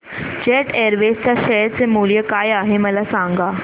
jet airways च्या share चे मूल्य काय आहे मला सांगा